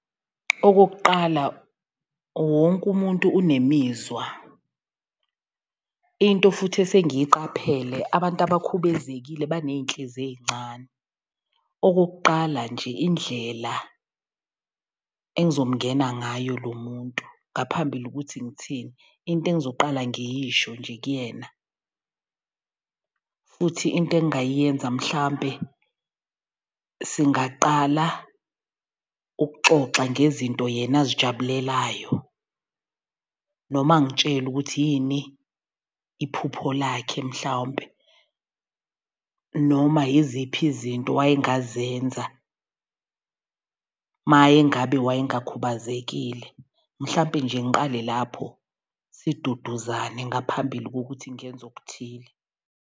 Okokuqala wonke umuntu unemizwa, into futhi esengiyiqaphele abantu abakhubezekile baney'ntliziyo ey'ncane. Okokuqala nje indlela engizomngena ngayo lo muntu ngaphambili ukuthi ngithini. Into engizoqala ngiyisho nje kuyena futhi into engingayenza mhlampe singaqala ukuxoxa ngezinto yena azijabulelayo. Noma angitshele ukuthi yini iphupho lakhe mhlawumpe noma yiziphi izinto waye ngazenza maye ngabe waye ngakhubazekile. Mhlawumpe nje ngiqale lapho siduduzane ngaphambili kokuthi ngenza okuthile.